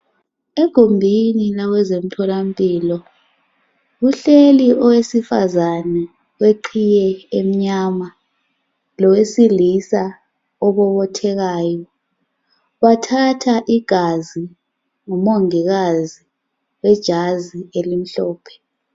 Egumbinina kwezomtholampilo. Kuhleli owesifazane oweqiye emnyama lowesilisa obobothekayo Bathatha igazi ngumongikazi wejazi elimhlophe.